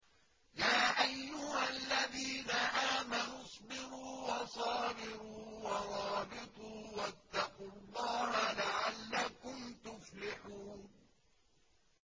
يَا أَيُّهَا الَّذِينَ آمَنُوا اصْبِرُوا وَصَابِرُوا وَرَابِطُوا وَاتَّقُوا اللَّهَ لَعَلَّكُمْ تُفْلِحُونَ